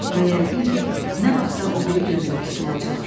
Və yəqin ki, nə vaxtsa o biri gözdə tutulacaq.